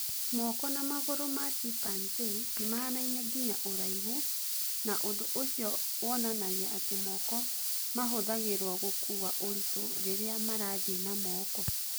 Moko na magũrũ ma chimpanzii nĩ mahanaine nginya ũraihu, na ũndũ ũcio wonanagia atĩ moko mahũthagĩrũo gũkuua ũritũ rĩrĩa marathiĩ na moko.